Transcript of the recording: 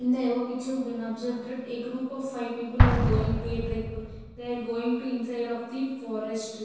In the above picture we can observe that a group of five people are going to a trip they are going to inside of the forest.